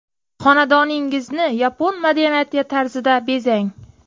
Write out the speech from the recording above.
Xonadoningizni yapon madaniyati tarzida bezang!